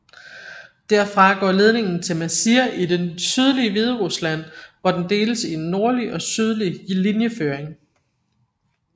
Derfra går ledningen til Mazir i det sydlige Hviderusland hvor den deles i en nordlig og sydlig linjeføring